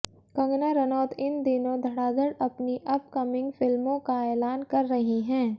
कंगना रनौत इन दिनों धड़ाधड़ अपनी अपकमिंग फिल्मों का ऐलान कर रही हैं